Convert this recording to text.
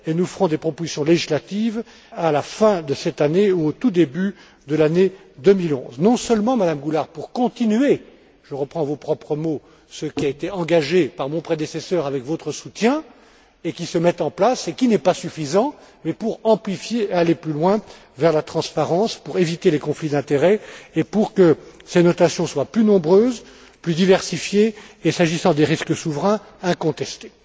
Et nous ferons des propositions législatives à la fin de cette année ou au tout début de l'année 2011, non seulement, Madame Goulard, pour continuer je reprends vos propres mots ce qui a été engagé par mon prédécesseur avec votre soutien, qui se met en place et qui n'est pas suffisant, mais aussi pour amplifier, aller plus loin vers la transparence pour éviter les conflits d'intérêts, et pour que ces notations soient plus nombreuses, plus diversifiées et, s'agissant des risques souverains, incontestées.